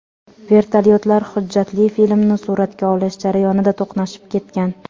Vertolyotlar hujjatli filmni suratga olish jarayonida to‘qnashib ketgan.